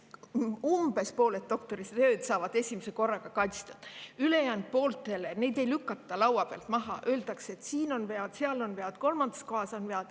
Umbes pooled doktoritööd saavad esimese korraga kaitstud, aga ülejäänud pooli ei lükata laua pealt maha, vaid öeldakse: "Siin on vead, seal on vead, kolmandas kohas on vead.